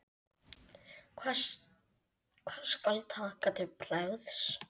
Hvað skal taka til bragðs?